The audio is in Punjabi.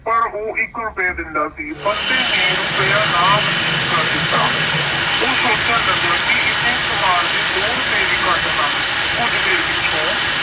ਪਰ ਉਹ ਇੱਕ ਰੁਪਇਆ ਦਿੰਦਾ ਸੀ। ਬੰਤੇ ਨੇ ਰੁਪਇਆ ਨਾ ਮਨਜੂਰ ਕਰਨ ਦਿੱਤਾ। ਉਹ ਸੋਚਣ ਲੱਗਾ ਕਿ ਇੰਨੇ ਸਮਾਨ ਦੇ ਦੋ ਰੁਪਏ ਵੀ ਘੱਟ ਹਨ। ਕੁਝ ਦੇਰ ਪਿੱਛੋਂ